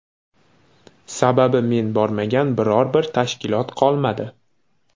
Sababi men bormagan biror bir tashkilot qolmadi.